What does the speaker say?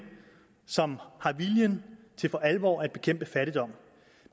som har viljen til for alvor at bekæmpe fattigdom